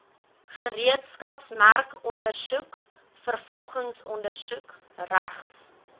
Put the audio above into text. gereedskapsmerkondersoek vervolgingsondersoek regs